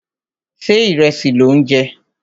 Ṣé ìrẹsì lò ń jẹ?